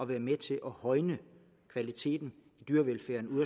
være med til at højne kvaliteten i dyrevelfærden ude